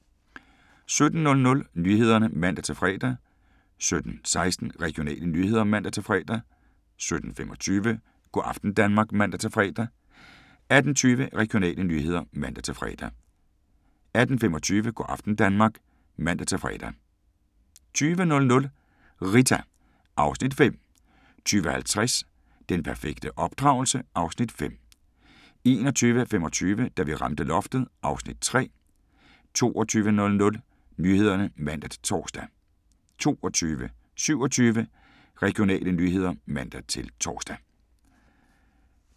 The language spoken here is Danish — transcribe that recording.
17:00: Nyhederne (man-fre) 17:16: Regionale nyheder (man-fre) 17:25: Go' aften Danmark (man-fre) 18:20: Regionale nyheder (man-fre) 18:25: Go' aften Danmark (man-fre) 20:00: Rita (Afs. 5) 20:50: Den perfekte opdragelse? (Afs. 5) 21:25: Da vi ramte loftet (Afs. 3) 22:00: Nyhederne (man-tor) 22:27: Regionale nyheder (man-tor)